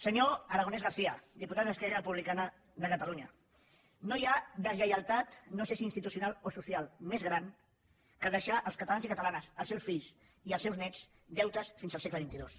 senyor aragonès garcia diputat d’esquerra republicana de catalunya no hi ha deslleialtat no sé si institucional o social més gran que deixar els catalans i catalanes els seus fills i els seus néts deutes fins al segle xxii